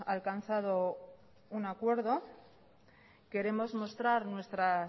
alcanzado un acuerdo queremos mostrar nuestra